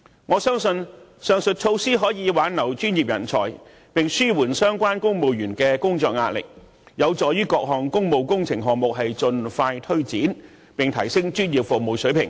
我相信，上述措施可以幫助挽留專業人才，並紓緩相關公務員的工作壓力，有助於各項工務工程項目盡快推展，提升專業服務水平。